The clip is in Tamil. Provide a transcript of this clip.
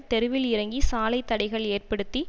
தெருவில் இறங்கி சாலை தடைகள் ஏற்படுத்தி